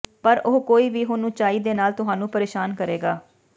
ਪਰ ਉਹ ਕੋਈ ਵੀ ਹੁਣ ਉਚਾਈ ਦੇ ਨਾਲ ਤੁਹਾਨੂੰ ਪ੍ਰੇਸ਼ਾਨ ਕਰੇਗਾ